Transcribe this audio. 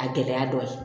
A gɛlɛya dɔ ye